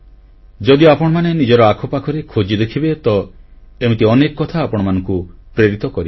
ଯଦି ଆପଣମାନେ ନିଜର ଆଖପାଖରେ ଖୋଜି ଦେଖିବେ ତ ଏମିତି ଅନେକ କଥା ଆପଣମାନଙ୍କୁ ପ୍ରେରିତ କରିବ